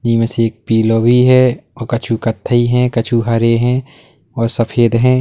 इनमें से एक पिला भी है औ कछु कत्थई है कछु हरे हैं और सफेद हैं।